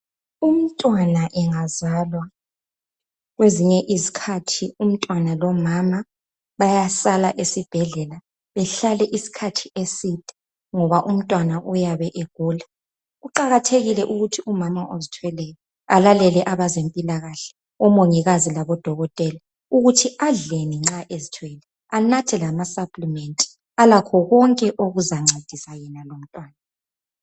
Umntwana engazalwa kwezinye izikhathi umntwana lomama bayasala esibhedlela behlale isikhathi eside ngoba umntwana uyabe egula. Kuqakathekile ukuthi umama ozithweleyo alalele abezempilakahle o Mongikazi labo Dokotela ukuthi adleni nxa ezithwele anathe lama supplement alakho konke okuzancedisa yena lomntwana.